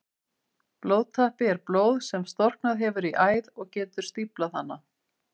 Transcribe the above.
Blóðtappi er blóð sem storknað hefur í æð og getur stíflað hana.